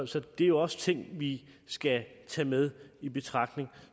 så det er jo også ting vi skal tage med i betragtning